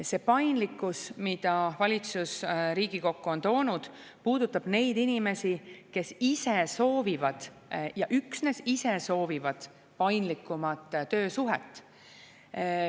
See paindlikkus, mida valitsus Riigikokku on toonud, puudutab neid inimesi, kes ise soovivad – ja üksnes ise soovivad – paindlikumat töösuhet.